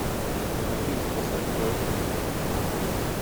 афина поставь херт